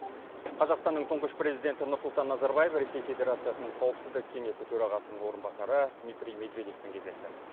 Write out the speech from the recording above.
қазақстанның тұңғыш президенті нұрсұлтан назарбаев ресей федерациясының қауіпсіздік кеңесінің төрағасының орынбасары дмитрий медведевпен кездесті